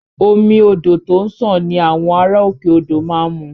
Omi odò tó ń sàn ni àwọn ará òkè odò má ń mu